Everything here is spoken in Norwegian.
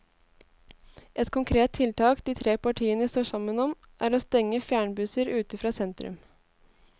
Ett konkret tiltak de tre partiene står sammen om, er å stenge fjernbusser ute fra sentrum.